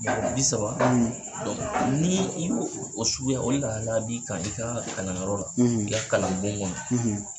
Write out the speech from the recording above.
mɔgɔ bi saba, nii i b'o fo o suguya o lahalaya b'i kan i kaa ŋa kalanyɔrɔ la i ka kalanbon ŋɔnɔ.